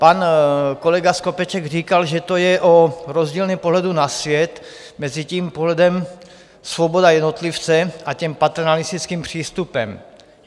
Pan kolega Skopeček říkal, že to je o rozdílném pohledu na svět mezi tím pohledem - svoboda jednotlivce a tím paternalistickým přístupem.